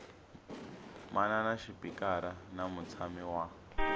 manana xipikara na mutshami wa